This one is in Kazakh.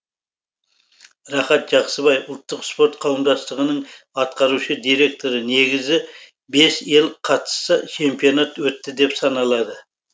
рахат жақсыбай ұлттық спорт қауымдастығының атқарушы директоры негізі бес ел қатысса чемпионат өтті деп саналады